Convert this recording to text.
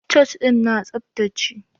Church ɗin na tsaftace.